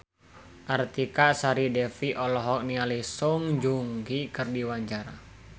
Artika Sari Devi olohok ningali Song Joong Ki keur diwawancara